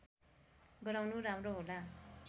गराउनु राम्रो होला